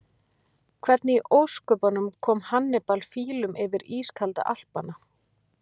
Hvernig í ósköpunum kom Hannibal fílum yfir ískalda Alpana?